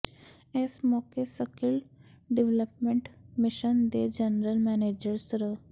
ਇਸ ਮੌਕੇ skill development mission ਦੇ ਜਨਰਲ ਮੈਨੇਜਰ ਸ੍ਰ